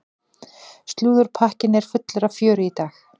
Slúðurpakkinn er fullur af fjöri í dag.